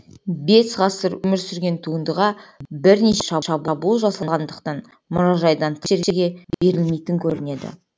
бес ғасыр өмір сүрген туындыға бірнеше шабуыл жасалғандықтан мұражайдан тыс жерге берілмейтін көрінеді